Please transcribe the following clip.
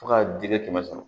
Fo ka dingɛ kɛmɛ sɔrɔ